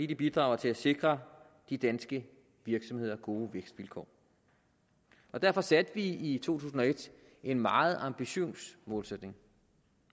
det bidrager til at sikre de danske virksomheder gode vækstvilkår derfor satte vi i to tusind og et en meget ambitiøs målsætning